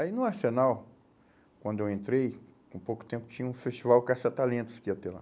Aí no Arsenal, quando eu entrei, com pouco tempo tinha um festival caça-talentos que ia ter lá.